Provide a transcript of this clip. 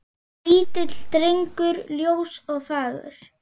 Lítill drengur ljós og fagur.